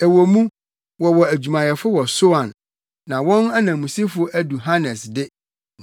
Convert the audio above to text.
Ɛwɔ mu, wɔwɔ adwumayɛfo wɔ Soan na wɔn ananmusifo adu Hanes de,